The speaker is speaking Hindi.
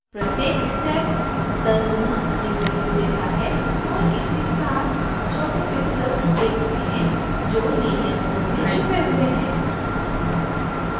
प्रत्येक step दस गुना अधिक value देती है और इसके साथ आप छोटे pixels देखते हैं जो linear mode में छुपे हुए हैं